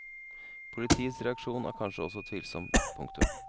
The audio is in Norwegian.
Politiets reaksjon er kanskje også tvilsom. punktum